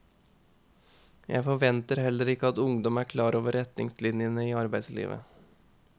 Jeg forventer heller ikke at ungdom er klar over retningslinjene i arbeidslivet.